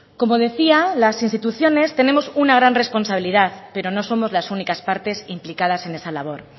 como decía las instituciones tenemos una gran responsabilidad pero no somos las únicas partes implicadas en esa labor